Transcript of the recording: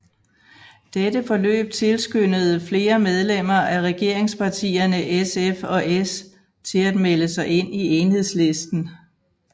Dette forløb tilskyndede flere medlemmer af regeringspartierne SF og S til at melde sig ind i Enhedslisten